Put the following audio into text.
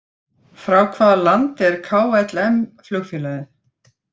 Frá hvaða landi er KLM flugfélagið?